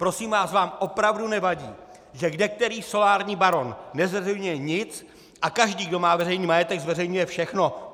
Prosím vás, vám opravdu nevadí, že kdekterý solární baron nezveřejňuje nic a každý, kdo má veřejný majetek, zveřejňuje všechno?